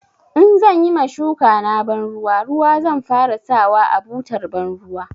In zan yi ma shukana banruwa ruwa zan fara sawa a butar banruwa.